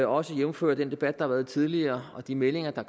også jævnfør den debat der har været tidligere og de meldinger der